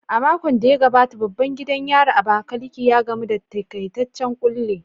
A makon da ya gabata, babban gidan yarin Abakaliki, ya gamu da takaitaccen kulle